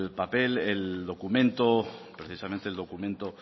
papel el documento precisamente el documento